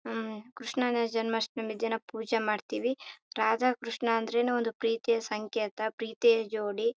ಅಹ್ ಕ್ರಷ್ಣನ ಜನ್ಮಾಷ್ಟಮಿ ದಿನ ಪೂಜೆ ಮಾಡ್ತೀವಿ. ರಾಧ ಕ್ರಷ್ಣ ಅಂದ್ರೆನು ಒಂದು ಪ್ರೀತಿಯ ಸಂಕೇತ ಪ್ರೀತಿಯ ಜೋಡಿ.